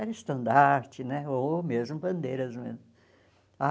Era estandarte né, ou mesmo bandeiras mesmo ah.